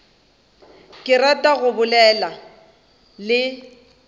ke rata go bolela le